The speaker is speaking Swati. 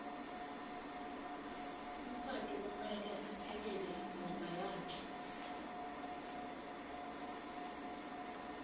umfati kumeke aphekele imdvodza yakhe